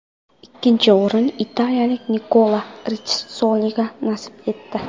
Ikkinchi o‘rin italiyalik Nikola Ritssoliga nasib etdi.